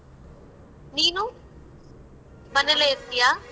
ನೀನು? ಮನೇಲೆ ಇರ್ತಿಯ?